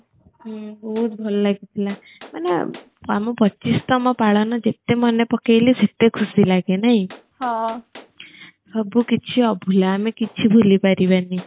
ହୁଁ ବହୁତ ଭଲ ଲାଗି ଥିଲା ମାନେ ଆମ ପଚିଶତମ ପାଳନ ଜେତେ ମନେ ପକେଇଲେ ସେତେ ଖୁସି ଲାଗେ ନାହିଁ ସବୁ କିଛି ଅଭୁଲା ଆମେ କିଛି ଭୁଲି ପାରିବାନି